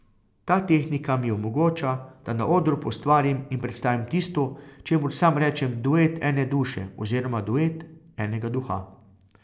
Ta tehnika mi omogoča, da na odru poustvarim in predstavim tisto, čemur sam rečem duet ene duše oziroma duet enega duha.